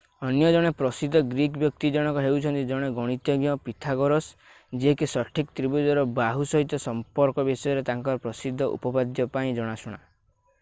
ଅନ୍ୟ ଜଣେ ପ୍ରସିଦ୍ଧ ଗ୍ରୀକ୍ ବ୍ୟକ୍ତି ଜଣକ ହେଉଛନ୍ତି ଜଣେ ଗଣିତଜ୍ଞ ପିଥାଗୋରାସ୍ ଯିଏ କି ସଠିକ ତ୍ରିଭୁଜର ବାହୁ ସହିତ ସମ୍ପର୍କ ବିଷୟରେ ତାଙ୍କର ପ୍ରସିଦ୍ଧ ଉପପାଦ୍ୟ ପାଇଁ ଜଣାଶୁଣା